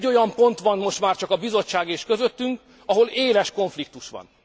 Egy olyan pont van most már csak a Bizottság és közöttünk, ahol éles konfliktus van.